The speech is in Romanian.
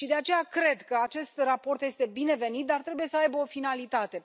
De aceea, cred că acest raport este binevenit, dar trebuie să aibă o finalitate.